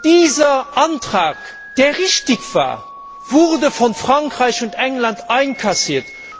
Dieser Antrag, der richtig war, wurde von Frankreich und England einkassiert.